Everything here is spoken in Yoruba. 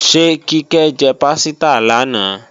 Ṣé Kíkẹ́ jẹ pásítà lánàá?